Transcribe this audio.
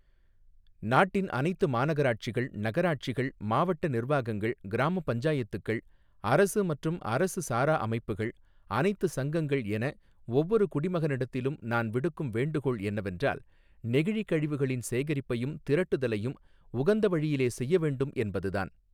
நாட்டின் அனைத்து மாநகராட்சிகள், நகராட்சிகள், மாவட்ட நிர்வாகங்கள், கிராமப் பஞ்சாயத்துக்கள், அரசு மற்றும் அரசு சாரா அமைப்புகள், அனைத்து சங்கங்கள் என, ஒவ்வொரு குடிமகனிடத்திலும் நான் விடுக்கும் வேண்டுகோள் என்னவென்றால், நெகிழிக் கழிவுகளின் சேகரிப்பையும், திரட்டுதலையும் உகந்த வழியிலே செய்ய வேண்டும் என்பது தான்.